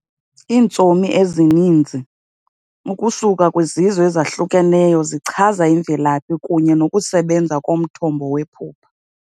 Iintsomi ezininzi, ukusuka kwizizwe ezahlukeneyo zichaza imvelaphi kunye nokusebenza komthombo wephupha.